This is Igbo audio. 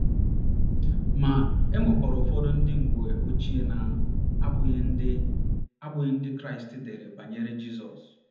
Ma, e nwekwara ụfọdụ ndị mgbe ochie na - abụghị Ndị - abụghị Ndị Kraịst dere banyere Jizọs.